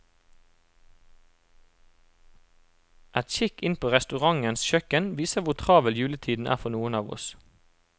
En kikk inn på restaurantens kjøkken viser hvor travel juletiden er for noen av oss.